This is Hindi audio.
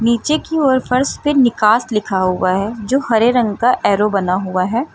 नीचे की ओर फर्श पे निकास लिखा हुआ है जो हरे रंग का एरो बना हुआ है।